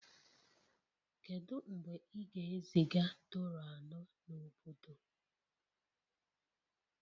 Kedu mgbe ị ga-eziga Toro anọ n'obodo?